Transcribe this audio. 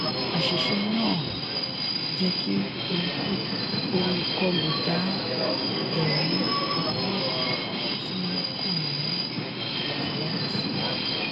àṣìṣe náà jẹ́ kí olùkọlù dá ẹ̀rí owó tí kò ní àtìlẹyìn sílẹ̀.